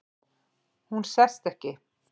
Hún sest ekki.